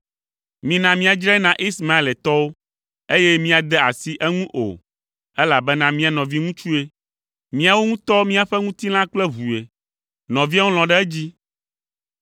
“Mina míadzrae na Ismaeletɔwo, eye míade asi eŋu o, elabena mía nɔviŋutsue; míawo ŋutɔ míaƒe ŋutilã kple ʋue.” Nɔviawo lɔ̃ ɖe edzi.